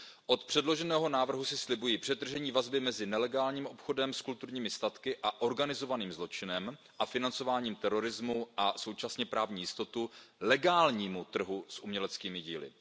Od předloženého návrhu si slibuji přetržení vazby mezi nelegálním obchodem s kulturními statky a organizovaným zločinem a financováním terorismu a současně právní jistotu legálnímu trhu s uměleckými díly.